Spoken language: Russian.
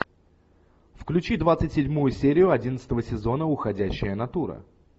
включи двадцать седьмую серию одиннадцатого сезона уходящая натура